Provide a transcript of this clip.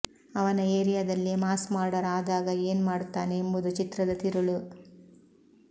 ಅವನ ಎರಿಯಾದಲ್ಲೇ mass murder ಆದಾಗ ಎನ್ ಮಾಡುತ್ತಾನೆ ಎಂಬುದು ಚಿತ್ರದ ತಿರುಳು